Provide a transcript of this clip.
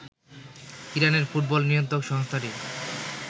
ইরানের ফুটবল নিয়ন্ত্রক সংস্থাটি